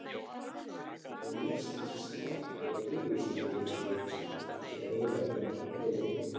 Og mér sýnist Smári vera miður sín yfir þessu öllu saman- svaraði Valdimar rólega.